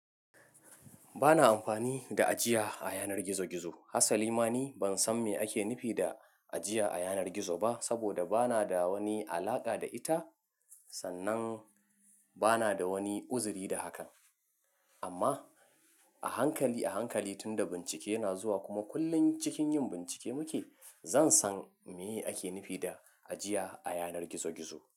Bana amfani da ajiya a yanar gizo-gizo. Hassali ma ni ban san me ake nufi da ajiya a yanar gizo ba, saboda bana da wani alaƙa da ita, sannan bana da wani uzuri da hakan. Amma a hankali, a hankali tunda bincike yana zuwa kuma kullum cikin yin bincike muke, zan san me ake nufi da ajiya a yanar gizo-gizo.